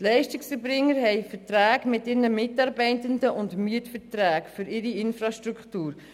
Die Leistungserbringer haben Verträge mit ihren Mitarbeitenden und Mietverträge für ihre Infrastruktur.